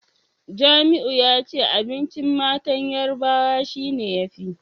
Jamiu yace abincin matan Yarbawa shine yafi